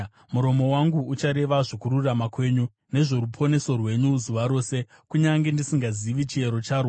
Muromo wangu uchareva zvokururama kwenyu, nezvoruponeso rwenyu zuva rose, kunyange ndisingazivi chiyero charwo.